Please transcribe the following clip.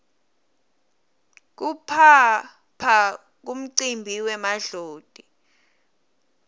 kuphaphla kumcimbi wemadloti